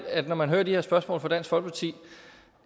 når man hører de her spørgsmål fra dansk folkeparti